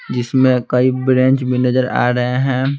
जिसमें कई ब्रेंच भी नजर आ रहे हैं।